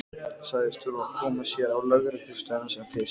Sagðist þurfa að koma sér á lögreglustöðina sem fyrst.